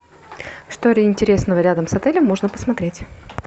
что интересного рядом с отелем можно посмотреть